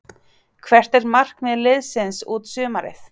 Hvert er markmið liðsins út sumarið?